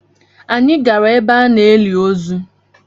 Anyị gara ebe a na-eli ozu.